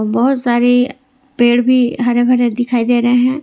बहोत सारी पेड़ भी हरे भरे दिखाई दे रहे है।